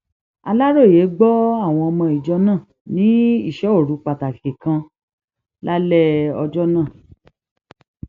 aláròye gbọ àwọn ọmọ ìjọ náà ní ìsọ òru pàtàkì kan lálẹ ọjọ náà